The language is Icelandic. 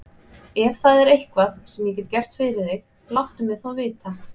Ef það er eitthvað, sem ég get gert fyrir þig, láttu mig þá vita.